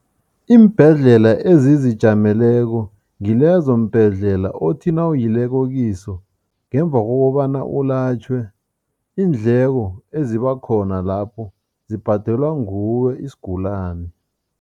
Iimbhedlela ezizijameleko ngilezo mbhedlela othi nawuyileko kiso, ngemva kokobana ulatjhwe, iindleko ezibakhona lapho zibhadelwa nguwe isigulani.